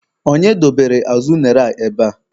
Onye dobere azụ unere a ebea?